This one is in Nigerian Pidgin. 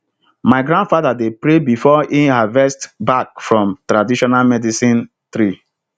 my grandfather dey pray before e harvest bark from traditional medicine tree